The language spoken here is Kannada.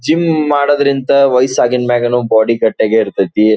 ಜಿಮ್ ಮಾಡುವುದರಿಂದ ವಯಸು ಆದ್ಮೇಲೆ ಕೂಡ ಬಾಡಿ ಗಟ್ಟಿ ಯಾಗಿ ಇರ್ತತಿ .